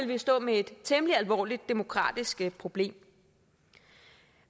vi stå med et temmelig alvorligt demokratisk problem